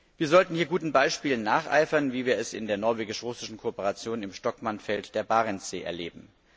Wir sollten hier guten Beispielen nacheifern, wie wir es in der norwegisch russischen Kooperation im Shtokman Feld der Barentssee erleben.